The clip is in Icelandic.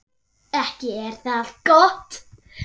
Ekki er það gott!